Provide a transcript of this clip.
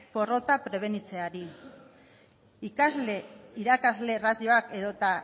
porrotak prebenitzeari ikasle irakasle ratioak edota